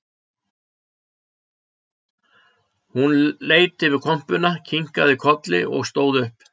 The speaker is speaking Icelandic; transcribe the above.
Hún leit yfir kompuna og kinkaði kolli og stóð upp